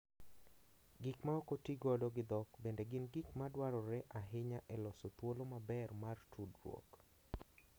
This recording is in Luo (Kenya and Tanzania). Gik ma ok otigodo gi dhok bende gin gik ma dwarore ahinya e loso thuolo maber mar tudruok.